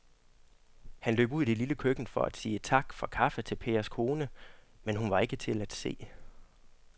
Han løb ud i det lille køkken for at sige tak for kaffe til Pers kone, men hun var ikke til at se.